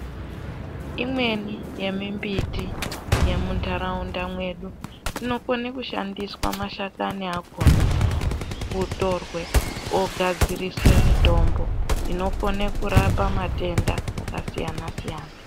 Imweni yemimbiti yemuntaraunda mwedu, inokone kushandiswa mashakani akhona otorwe ogadziriswe mitombo inokone kurapa matenda akasiyana-siyana.